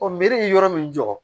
meri yɔrɔ min jɔ